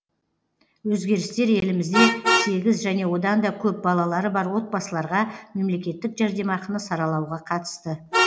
өзгерістер елімізде сегіз және одан да көп балалары бар отбасыларға мемлекеттік жәрдемақыны саралауға қатысты